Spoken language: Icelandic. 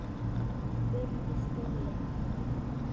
spurði Stulli.